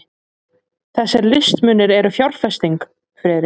Þessir listmunir eru fjárfesting, Friðrik.